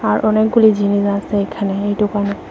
আর অনেকগুলি জিনিস আসে এখানে এই ডোকানে ।